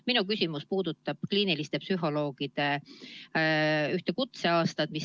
Minu küsimus puudutab kliiniliste psühholoogide ühte kutseaastat.